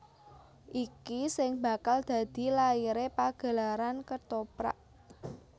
Iki sing bakal dadi laire pagelaran Kethoprak